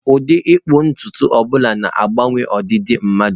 Ụdị ịkpụ ntutu ọ bụla na-agbanwe ọdịdị mmadu.